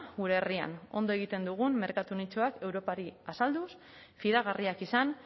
gure herrian ondo egiten dugun merkatu nitxoak europari azalduz fidagarriak izan